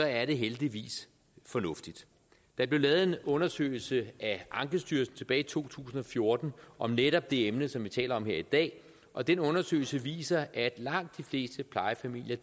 er det heldigvis fornuftigt der blev lavet en undersøgelse af ankestyrelsen tilbage i to tusind og fjorten om netop det emne som vi taler om her i dag og den undersøgelse viser at langt de fleste plejefamilier